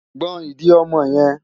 Gbọn ìdí ọmọ yẹn!